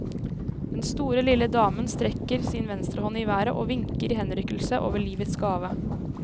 Den store lille damen strekker sin venstrehånd i været og vinker i henrykkelse over livets gave.